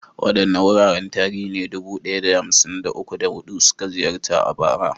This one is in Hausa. Waɗanne wuraren tarihi ne dubu ɗaya da hamsin da uku, da hudu suka ziyarta a bara?